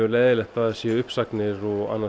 leiðinlegt að það séu uppsagnir